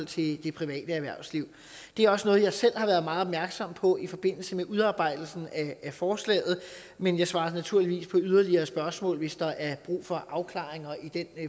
til det private erhvervsliv det er også noget jeg selv har været meget opmærksom på i forbindelse med udarbejdelsen af forslaget men jeg svarer naturligvis på yderligere spørgsmål hvis der er brug for afklaringer i den